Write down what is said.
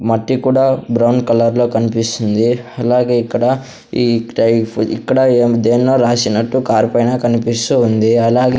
మట్టి కూడా brown colour లో కన్పిస్తుంది అలాగే ఇక్కడ ఈ టైఫ్ ఇక్కడ ఏం దేన్నో రాసినట్టు కార్ పైన కన్పిస్తూ ఉంది. అలాగే --